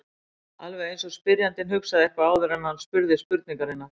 Alveg eins og spyrjandinn hugsaði eitthvað áður en hann spurði spurningarinnar.